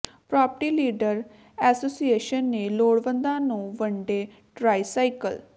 property dealer association ਨੇ ਲੋੜਵੰਦਾਂ ਨੂੰ ਵੰਡੇ ਟਰਾਈ ਸਾਈਕਲ